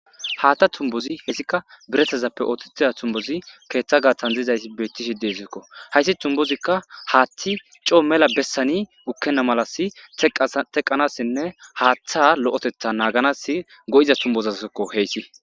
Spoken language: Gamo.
Haththa tubbozi hessika biiratazappe oththetiza tubbozi keththa gaththan dizaysi betishe dessiko hayssi tubbozika haththi coo mella bessan gukena malla teqqanasinne haththa lo'ottetha naganas go'izayssako hessika.